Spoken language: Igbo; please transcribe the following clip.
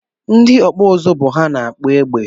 Ndị ọkpụ ụzụ bụ ha na-akpụ egbe